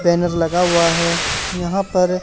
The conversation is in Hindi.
बैनर लगा हुआ है यहां पर--